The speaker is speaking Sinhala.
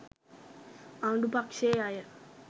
ආණ්ඩු පක්ෂයේ අය